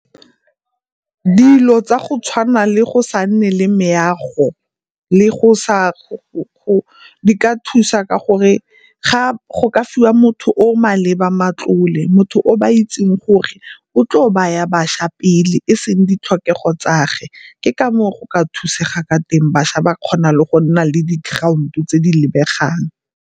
Dilo tsa go tshwana le go sa nne le meago le go sa, di ka thusa ka gore ga go ka fiwa motho o o maleba matlole. Motho ba itseng gore o tlo baya bašwa pele e seng ditlhokego tsa ge, ke ka moo go ka thusega ka teng bašwa ba kgona le go nna le di-ground-o tse di lebegang.